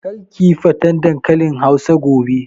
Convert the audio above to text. Kar kiyi faten dankalin hausa gobe!